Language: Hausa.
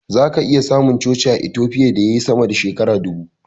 Zaka iya samun coci a Itofiya da yayi sama da shekara dubu.